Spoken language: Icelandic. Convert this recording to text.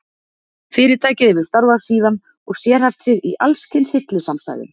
Fyrirtækið hefur starfað síðan og sérhæft sig í alls kyns hillusamstæðum.